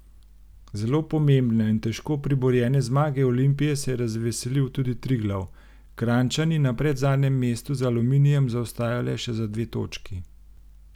Zelo pomembne in težko priborjene zmage Olimpije se je razveselil tudi Triglav, Kranjčani na predzadnjem mestu za Aluminijem zaostajajo le še za dve točki.